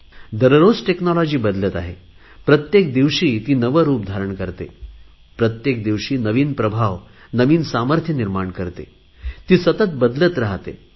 दररोज टेक्नॉलॉजी बदलत आहे प्रत्येक दिवशी ती नवे रुप धारण करते प्रत्येक दिवशी नवीन प्रभाव सामर्थ्य निर्माण करत आहे ती सतत बदलत राहाते